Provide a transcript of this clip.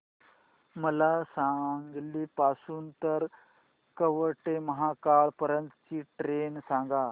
मला सांगली पासून तर कवठेमहांकाळ पर्यंत ची ट्रेन सांगा